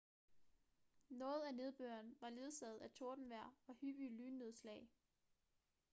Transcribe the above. noget af nedbøren var ledsaget af tordenvejr og hyppige lynnedslag